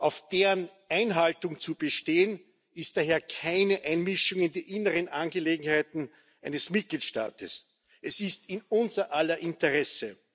Auf deren Einhaltung zu bestehen, ist daher keine Einmischung in die inneren Angelegenheiten eines Mitgliedstaats, es ist in unser aller Interesse.